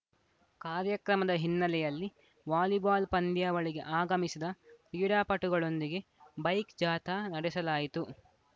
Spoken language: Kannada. ಕಾರ್ಯಕ್ರಮದ ಹಿನ್ನೆಲೆಯಲ್ಲಿ ವಾಲಿಬಾಲ್‌ ಪಂದ್ಯಾವಳಿಗೆ ಆಗಮಿಸಿದ ಕ್ರೀಡಾಪಟುಗಳೊಂದಿಗೆ ಬೈಕ್‌ ಜಾಥಾ ನಡೆಸಲಾಯಿತು